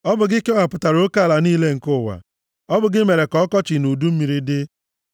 Ọ bụ gị kewapụtara oke ala niile nke ụwa. Ọ bụ gị mere ka ọkọchị na udu mmiri dị.